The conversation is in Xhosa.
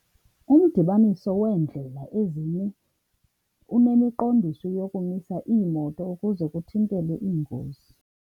Umdibaniso weendlela ezine unemiqondiso yokumisa iimoto ukuze kuthintelwe iingozi.